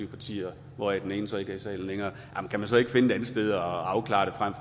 partier hvoraf den ene så ikke er i salen længere kan man så ikke finde et andet sted at afklare det frem